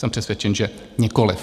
Jsem přesvědčen, že nikoliv.